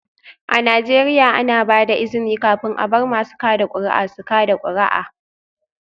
A Najeriya, ana ba da izini kafin a bar masu kada kuri'a su kada kuri'a